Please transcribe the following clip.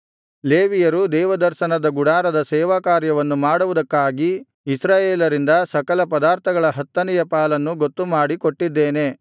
ಲೇವಿಯರು ದೇವದರ್ಶನದ ಗುಡಾರದ ಸೇವಾಕಾರ್ಯವನ್ನು ಮಾಡುವುದಕ್ಕಾಗಿ ಇಸ್ರಾಯೇಲರಿಂದ ಸಕಲ ಪದಾರ್ಥಗಳ ಹತ್ತನೆಯ ಪಾಲನ್ನು ಗೊತ್ತುಮಾಡಿ ಕೊಟ್ಟಿದ್ದೇನೆ